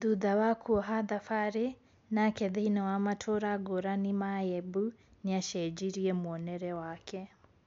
Thutha wa kuoha thabari nake thĩini wa matũũra ngũrani ya Embu, niacenjirie mũonero wake